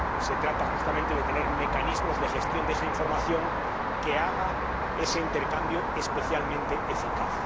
Se trata, justamente, de tener mecanismos de gestión de esa información que haga ese intercambio especialmente eficaz.